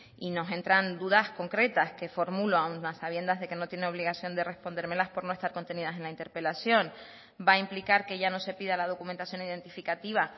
y nos entran dudas concretas que formulo aún a sabiendas que no tiene obligación de respondérmelas por no estar contenidas en la interpelación va a implicar que ya no se pida la documentación identificativa